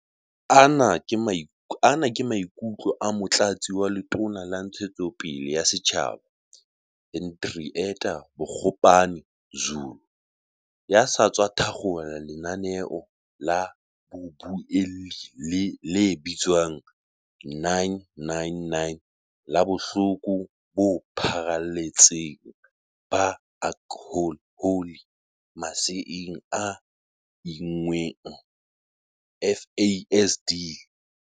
Ana ke maikutlo a Motlatsi wa Letona la Ntshetsopele ya Setjhaba, Hendrietta Bogopane-Zulu, ya sa tswa thakgola lenaneo la bobuelli le bitswang 9-9-9 la Bohloko bo Pharale tseng ba Aklhohole Maseeng a Inngweng, FASD.